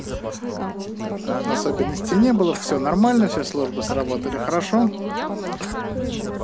особенностей не было всё нормально все службы сработали хорошо